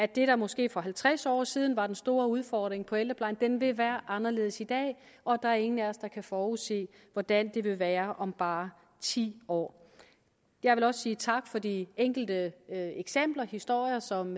der måske for halvtreds år siden var den store udfordring inden for ældreplejen vil være anderledes i dag og der er ingen af os der kan forudsige hvordan det vil være om bare ti år jeg vil også sige tak for de enkelte eksempler historier som